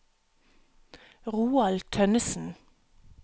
Roald Tønnesen